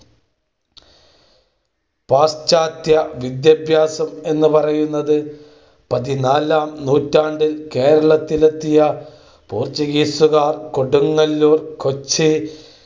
പാശ്ചാത്യവിദ്യാഭ്യാസം എന്നു പറയുന്നത് പതിനാലാം നൂറ്റാണ്ടിൽ കേരളത്തിലെത്തിയ പോർച്ചുഗീസുകാർ, കൊടുങ്ങല്ലൂർ, കൊച്ചി